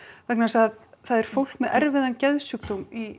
vegna þess að það er fólk með erfiðan geðsjúkdóm í